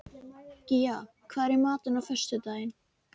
Gía, hvað er í matinn á föstudaginn?